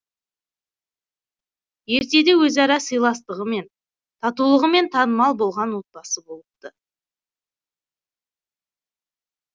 ертеде өзара сыйластығымен татулығымен танымал болған отбасы болыпты